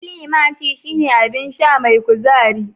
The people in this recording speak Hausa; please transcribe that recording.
Climaci shine abin sha mai kuzari